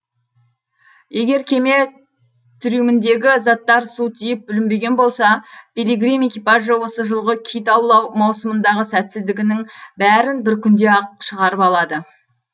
егер кеме трюміндегі заттар су тиіп бүлінбеген болса пилигрим экипажы осы жылғы кит аулау маусымындағы сәтсіздігінің бәрін бір күнде ақ шығарып алады